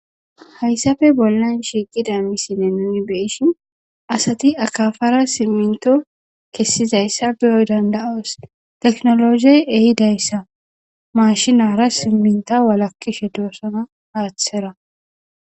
hayssafe bollan shiiqida missinne nuni beeshin asati akafara simminto kessizayssa biyoy danda7oos teknologey ehidayssa mashinara simminta walakkishe doosana aaththera